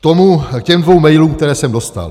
K těm dvěma mailům, které jsem dostal.